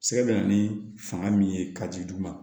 Sɛgɛ bɛ na ni fanga min ye ka di dugu ma